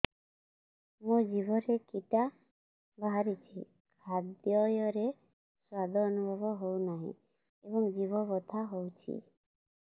ମୋ ଜିଭରେ କିଟା ବାହାରିଛି ଖାଦ୍ଯୟରେ ସ୍ୱାଦ ଅନୁଭବ ହଉନାହିଁ ଏବଂ ଜିଭ ବଥା ହଉଛି